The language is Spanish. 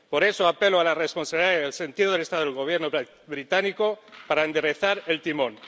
Por eso, apelo a la responsabilidad y al sentido de Estado del Gobierno británico para enderezar el timón.